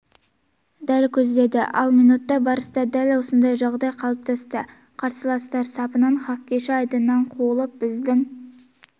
дәл көздеді ал минутта барыста дәл осындай жағдай қалыптасты қарсыластар сапынан хоккейші айдыннан қуылып біздің